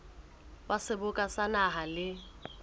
wa seboka sa naha le